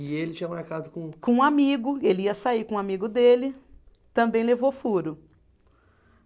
E ele tinha marcado com. Com um amigo, ele ia sair com um amigo dele, também levou furo.